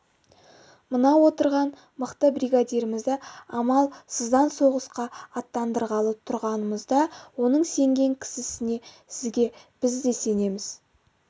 мына отырған мықты бригадирімізді амал сыздан соғысқа аттандырғалы тұрғанымызда оның сенген кісісіне сізге біз де сенеміз